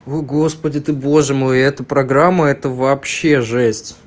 у господи ты боже мой и эта программа это вообще жесть